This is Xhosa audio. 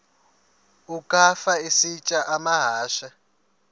ukafa isitya amahashe